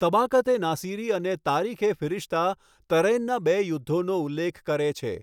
તબાકત એ નાસિરી અને તારીખ એ ફિરિશ્તા તરૈનના બે યુદ્ધોનો ઉલ્લેખ કરે છે.